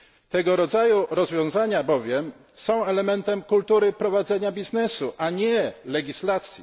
Tego rodzaju rozwiązania bowiem są elementem kultury prowadzenia biznesu, a nie legislacji.